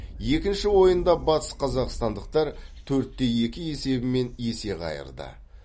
екінші ойында батысқазақстандықтар төрт те екі есебімен есе қайырды